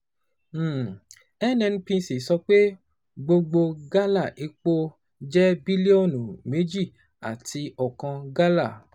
um NNPC sọ pé gbogbo gálà epo jẹ́ bílíọ̀nù méjì àti ọkan gálà. um